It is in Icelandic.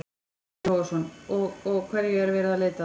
Breki Logason: Og, og hverju er verið að leita að?